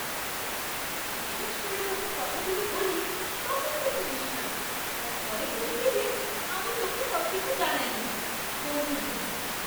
বিশ্বাস করে যখন কথাগুলো বলি তখন তো শুনিস না, আর পরে বলবি যে আমি তোকে সবকিছু জানাই না। বন্ধু দুই